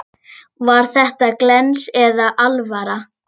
Var þetta glens eða alvara?